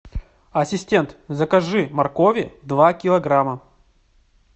ассистент закажи моркови два килограмма